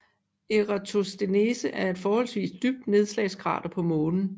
Eratosthenes er et forholdsvis dybt nedslagskrater på Månen